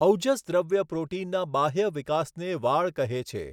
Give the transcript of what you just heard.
ઔજસદ્રવ્ય પ્રોટિનના બાહ્ય વિકાસને વાળ કહે છે.